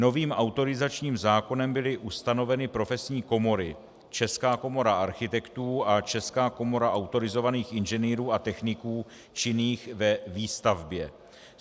Novým autorizačním zákonem byly ustanoveny profesní komory - Česká komora architektů a Česká komora autorizovaných inženýrů a techniků činných ve výstavbě.